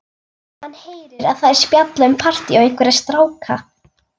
Hann heyrir að þær spjalla um partí og einhverja stráka.